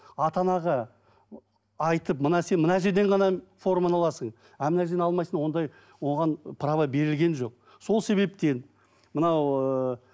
ата анаға айтып мына сен мына жерден ғана форманы аласың а мына жерден алмайсың ондай оған права берілген жоқ сол себептен мынау ыыы